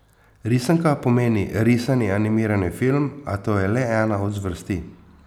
Risanka pomeni risani animirani film, a to je le ena od zvrsti.